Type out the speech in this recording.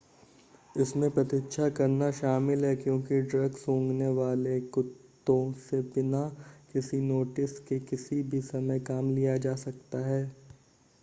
इसमें प्रतीक्षा करना शामिल है क्योंकि ड्रग-सूंघने वाले कुत्तों से बिना किसी नोटिस के किसी भी समय काम लिया जा सकता है